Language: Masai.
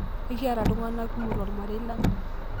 Ekiata ltung'ana kumok to lmarei lang'